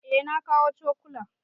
Eh na kawo cokulan.